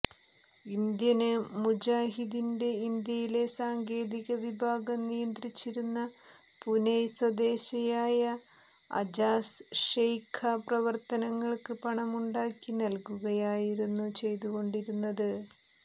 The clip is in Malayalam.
ഇന്ത്യന് മുജാഹിദിന്റെ ഇന്ത്യയിലെ സാങ്കേതിക വിഭാഗം നിയന്ത്രിച്ചിരുന്ന പൂനൈ സ്വദേശയായ അജാസ് ഷെയ്ഖ പ്രവര്ത്തനങ്ങള്ക്ക് പണമുണ്ടാക്കി നല്കുകയായിരുന്നു ചെയ്തുകൊണ്ടിരുന്നത്